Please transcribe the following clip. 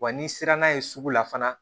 Wa n'i sera n'a ye sugu la fana